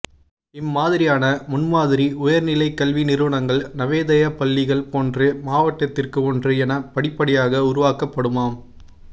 இம்மாதிரியான முன்மாதிரி உயர்நிலைக் கல்வி நிறுவனங்கள் நவோதயா பள்ளிகள் போன்று மாவட்டத்திற்கு ஒன்று என படிப்படியாக உருவாக்கப்படுமாம்